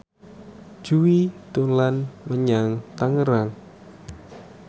Jui dolan menyang Tangerang